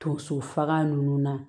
Donso faga ninnu na